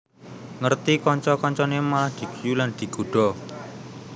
Ngerti kanca kancane malah diguyu lan digodha